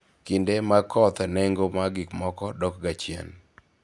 kinde mag koth nengo mag gik moko dok ga chien